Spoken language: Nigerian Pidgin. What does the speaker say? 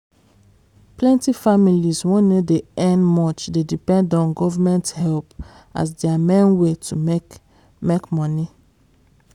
plenty families wey no dey earn much dey depend on government help as their main way to make make money